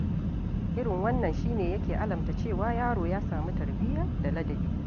Irin wannan shi ne yake alamta cewa yaro ya sami tarbiya da ladabi.